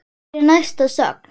Hver er næsta sögn?